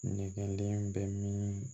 Nɛgɛden bɛ min